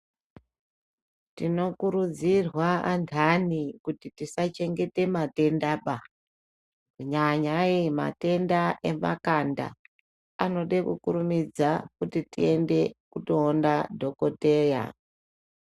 Tinokurudzirwa antani kuti tisachengete matendaba, nyanyai matenda emakanda anode kurumidza kuti kundoona dhokoteya.